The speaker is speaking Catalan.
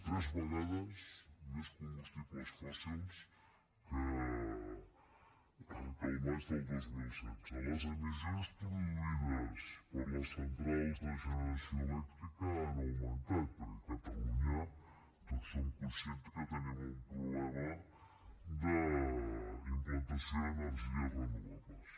tres vegades més combustibles fòssils que al maig del dos mil setze les emissions produïdes per les centrals de generació elèctrica han augmentat perquè a catalunya tots som conscients que tenim un problema d’implantació d’energies renovables